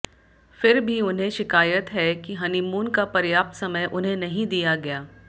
फिर भी उन्हें शिकायत है कि हनीमून का पर्याप्त समय उन्हें नहीं दिया गया